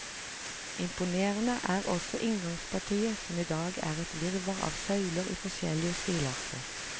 Imponerende er også inngangspartiet som i dag er et virvar av søyler i forskjellige stilarter.